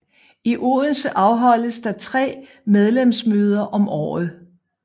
I Odense afholdes der tre medlemsmøder om året